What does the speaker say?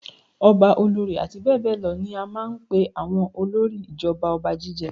Ọba, olórí àti bẹ́ẹ̀ bẹ́ẹ̀ lọ ní a máa ń pe àwọn olórí ìjọba ọba jíjẹ.